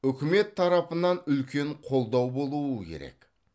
үкімет тарапынан үлкен қолдау болуы керек